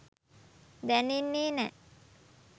දැනෙන්නේ නෑ